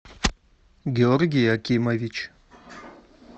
георгий акимович